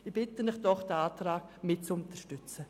Ich bitte Sie, den Antrag zu unterstützen.